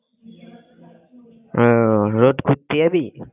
উহ road ঘুরতে যাবি?